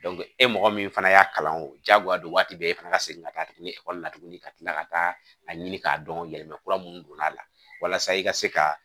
e mɔgɔ min fana y'a kalan o diyagoya de ye waati bɛɛ e fana ka segin ka taa tuguni ekɔli la tuguni ka tila ka taa a ɲini k'a dɔn yɛlɛma kura minnu donna a la walasa i ka se ka